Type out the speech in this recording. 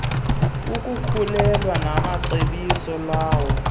ukukhulelwa macebiso lawo